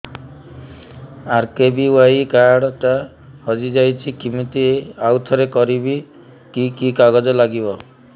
RKBY card ଟା ହଜିଯାଇଛି କିମିତି ଆଉଥରେ କରିବି କି କି କାଗଜ ଲାଗିବ